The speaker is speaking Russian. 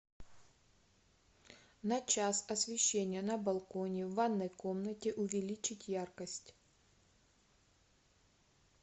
на час освещение на балконе в ванной комнате увеличить яркость